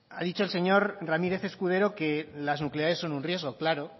ha dicho el señor ramírez escudero que las nucleares son un riesgo claro